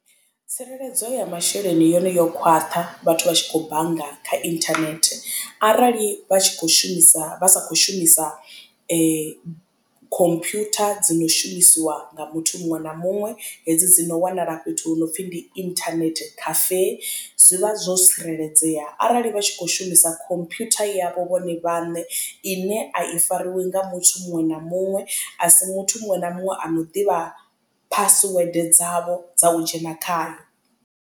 Tsireledzo ya masheleni yone yo khwaṱha vhathu vha tshi khou bannga kha internet arali vha tshi kho shumisa vha sa kho shumisa khomphutha dzo no shumisiwa nga muthu muṅwe na muṅwe hedzi dzi no wanala fhethu hu no pfhi ndi internet cafe, zwi vha zwo tsireledzea arali vha tshi kho shumisa computer yavho vhone vhaṋe ine a i fariwi nga muthu muṅwe na muṅwe a si muthu muṅwe na muṅwe ano ḓivha phasiwede dzavho dza u dzhena khayo.